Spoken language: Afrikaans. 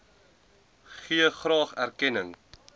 gee graag erkenning